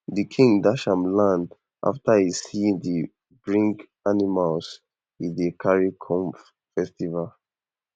the king dash am land after e see d bring animals e carry come festival